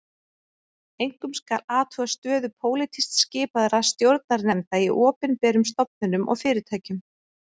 Einkum skal athuga stöðu pólitískt skipaðra stjórnarnefnda í opinberum stofnunum og fyrirtækjum